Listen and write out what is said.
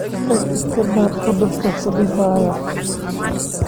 Tag iska baar cudurka ku dhibaya